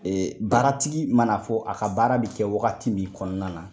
Ee baaratigi mana fɔ a ka baara bi kɛ wagati min kɔnɔna na